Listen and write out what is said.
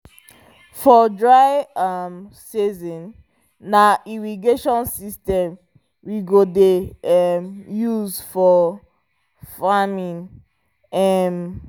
for dry um season na irrigation system we go dey um use for farming um